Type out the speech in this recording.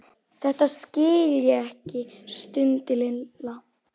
Þetta skil ég ekki stundi Lilla.